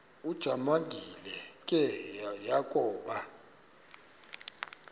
ujamangi le yakoba